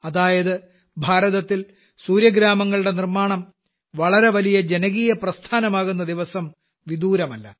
അതായത് ഭാരതത്തിൽ സൂര്യഗ്രാമങ്ങളുടെ നിർമ്മാണം വളരെ വലിയ ജനകീയപ്രസ്ഥാനമാകുന്ന ദിവസം വിദൂരമല്ല